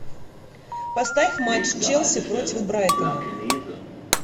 поставь матч челси против брайтона